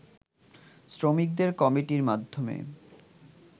শ্রমিকদের কমিটির মাধ্যমে